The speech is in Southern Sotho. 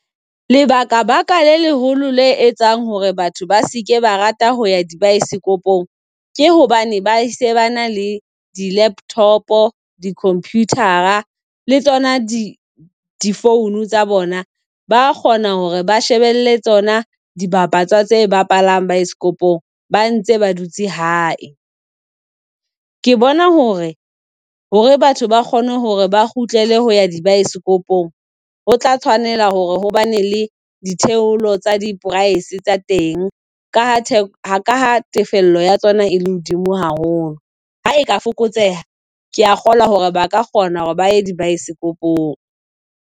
Lebaka baka le leholo le etsang hore batho ba seke ba rata ho ya di baesekopong ke hobane ba ese ba na le di-laptop, di-computer le tsona di di-phone tsa bona. Ba kgona hore ba shebele tsona dibapatswa tse bapalang baeskopong. Ba ntse ba dutse hae. Ke bona hore hore batho ba kgone hore ba kgutlele ho ya dibaesekopong ho tla tshwanela hore hobane le ditheolo tsa di-price tsa teng ka ha tefello ya tsona e le hodimo haholo. Ha e ka fokotseha kea kgolwa hore ba ka kgona hore baye di-baesekopong.